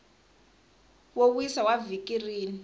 wo wisa wa vhiki rin